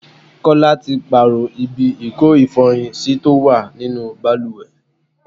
Kọ́lá tí pààrọ̀ ibi ìko ifọyin sí tó wà nínú bàlùwẹ̀.